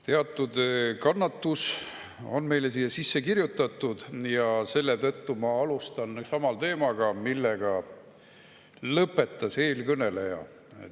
Teatud kannatus on meile siia sisse kirjutatud ja selle tõttu ma alustan sama teemaga, millega lõpetas eelkõneleja.